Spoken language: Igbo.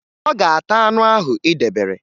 Ọ ga-ata anụ ahụ ị debere